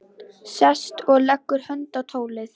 Sest og leggur hönd á tólið.